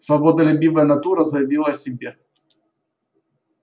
свободолюбивая натура заявила о себе